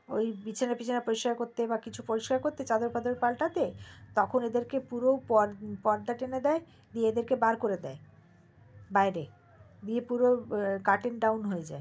ওই যে বিছানা টিচানা পরিষ্কার করতে বা কিছু পরিষ্কার করতে চাদর পাল্টাতে তখন ওদের কে পুরো পর্দা টেনে দেয় দিয়ে এদের কে বার করে দেয় বাইরে দিয়ে পুরো cut down হয়ে যাই